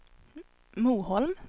Moholm